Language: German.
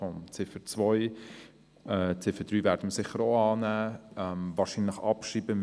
Die Ziffer 3 werden wir annehmen, aber wahrscheinlich abschreiben.